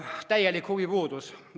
Täielik huvipuudus!